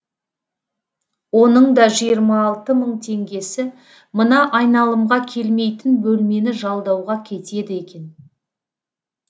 оның да жиырма алты мың теңгесі мына айналымға келмейтін бөлмені жалдауға кетеді екен